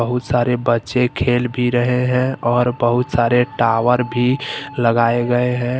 बहुत सारे बच्चे खेल भी रहे हैं और बहुत सारे टावर भी लगाए गए हैं।